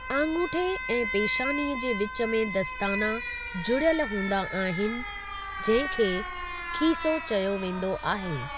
आङूठे ऐं पेशानी जे विचु में दस्ताना जुड़ियल हूंदा आहिनि जंहिं खे खीसो चयो वेंदो आहे।